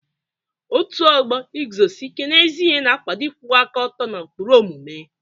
Ọ́tù ọgbọ Ịguzosi Íke n'ezi ihe na-akwado ịkwụwa aka ọtọ na ụkpụrụ omume.